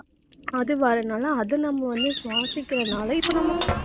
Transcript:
அது வர்றதுனால அது நம்ம வந்து சுவாசிக்கிறதுனால இப்ப நம்ம